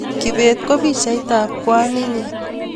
Kibet ko pichait ab kwaninyi